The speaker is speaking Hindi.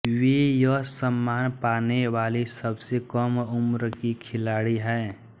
वे यह सम्मान पाने वाली सबसे कम उम्र की खिलाड़ी है